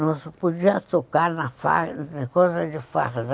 Não se podia tocar na coisa de farda.